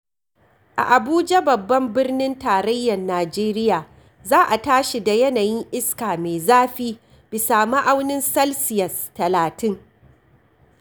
A Abuja babban birnin tarayyar Nijeriya za a tashi da yanayin iska mai zafi bisa ma'aunin salsiyas talatin.